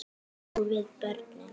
Og við börnin.